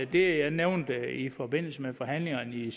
det jeg nævnte i forbindelse med forhandlingerne i